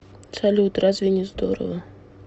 салют разве не здорово